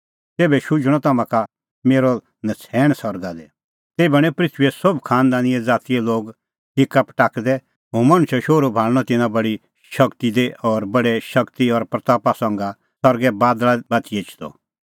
तेभै शुझणअ तम्हां का मेरअ नछ़ैण सरगा दी तेभै हणैं पृथूईए सोभ खांनदानज़ातीए लोग हिक्का पटाकदै हुंह मणछो शोहरू भाल़णअ तिन्नां बडी शगती दी और बडै शगती और महिमां संघै सरगै बादल़ा बाती एछदअ